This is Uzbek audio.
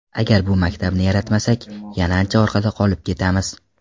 Agar bu maktabni yaratmasak, yana ancha orqada qolib ketamiz.